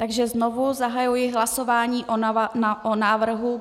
Takže znovu zahajuji hlasování o návrhu.